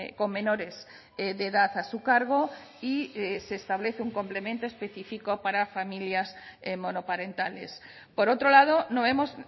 con menores de edad a su cargo y se establece un complemento específico para familias monoparentales por otro lado no vemos